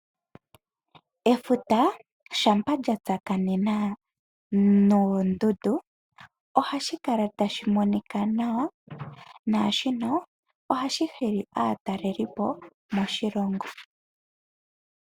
Efuta shampa lya tsakanena noondundu ohashi kala tali monika nawa, naa shika ohashi hili aatalelipo moshilongo.